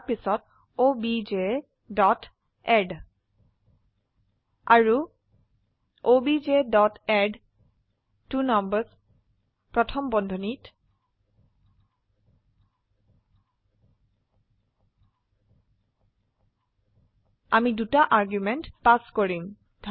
তাৰপিছত objএড আৰু objএডট্বনাম্বাৰ্ছ প্ৰথম বন্ধনীত আমি দুটা আৰ্গুমেন্ট পাস কৰিম